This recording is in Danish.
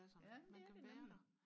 ja det er det nemlig